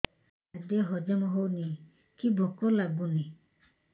ଖାଦ୍ୟ ହଜମ ହଉନି କି ଭୋକ ଲାଗୁନି